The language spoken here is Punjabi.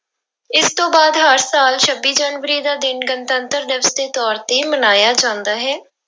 ਇਸ ਤੋਂ ਬਾਅਦ ਹਰ ਸਾਲ ਛੱਬੀ ਜਨਵਰੀ ਦਾ ਦਿਨ ਗਣਤੰਤਰ ਦਿਵਸ ਦੇ ਤੌਰ ਤੇ ਮਨਾਇਆ ਜਾਂਦਾ ਹੈ।